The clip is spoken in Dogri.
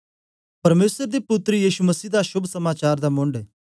परमेसर दे पुत्तर यीशु मसीह दा शोभ समाचार दा मुन्ड